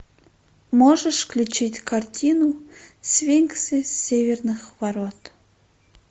можешь включить картину сфинксы северных ворот